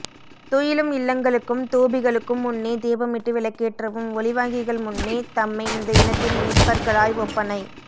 துயிலும் இல்லங்களுக்கும் தூபிகளுக்கும் முன்னே தீபமிட்டு விள்க்கேற்றவும் ஒலிவாங்கிகள் முன்னே தம்மை இந்த இனத்தின் மீட்பர்களாய் ஒப்பனை